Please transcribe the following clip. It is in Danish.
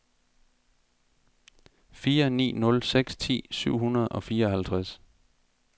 fire ni nul seks ti syv hundrede og fireoghalvtreds